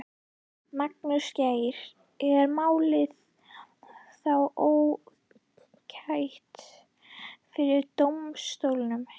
Magnús Geir: Er málið þá ótækt fyrir dómsstólum?